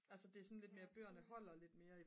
altså det er sådan lidt mere bøgerne holder lidt mere